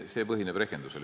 See põhineb rehkendusel.